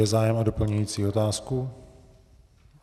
Je zájem o doplňující otázku?